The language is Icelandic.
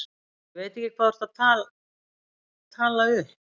Ég veit ekki hvað þú ert að tala upp.